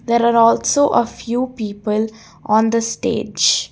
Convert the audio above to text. there are also a few people on the stage.